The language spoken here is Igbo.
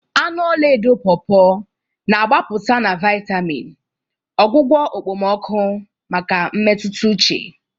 Anụ ọla edo Pawpaws na-agbapụta na vitamin, ọgwụgwọ okpomọkụ maka mmetụta uche.